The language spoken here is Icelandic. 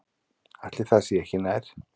Ætli það sé ekki nær.